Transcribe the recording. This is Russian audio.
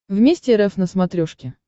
вместе рф на смотрешке